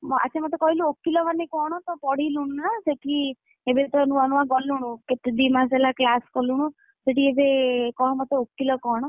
ଆଚ୍ଛା ମତେ କହିଲୁ ଓକିଲ ମାନେ କଣ? ତ ପଢିଲୁଣି ନା ସେଠି ଏବେ ତ ନୂଆ ନୂଆ ଗଲୁଣୁ କେତେ ଦି ମାସ ହେଲା class କଲୁଣୁ, ସେଠି ଏବେ କହ ମତେ ଓକିଲ କଣ?